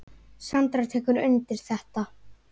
Sandra tekur undir þetta.